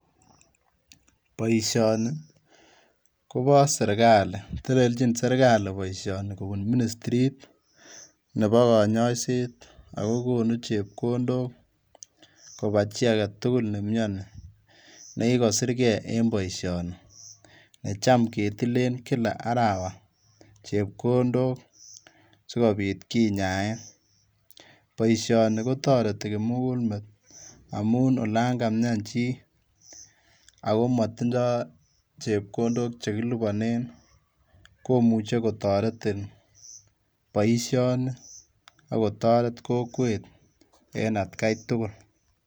Boisioni kobo sirkali teleljin sirkali boisioni kobun ministrit nebo konyoiset oko konuu chepngondok kobaa chi agetugul nemioni nekikosirkee en boisioni yecham ketilen kila arawa chepkondok sikobit kinyaen, boisioni kotoreti kimugulmet amun olan kamian chi ako motindoo chepkondok chekiliponen komuche kotoretin boisioni okotoret kokwet en atkai tugul.